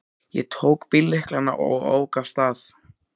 Ég tók bíllyklana og ók af stað.